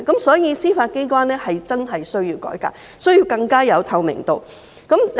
所以，司法機關真的需要改革，需要有更大的透明度。